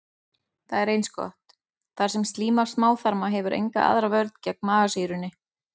Það er eins gott, þar sem slíma smáþarma hefur enga aðra vörn gegn magasýrunni.